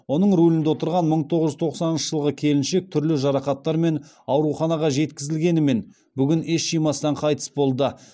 оның рулінде отырған мың тоғыз жүз тоқсаныншы жылғы келіншек түрлі жарақаттармен ауруханаға жеткізілгенімен бүгін ес жимастан қайтыс болды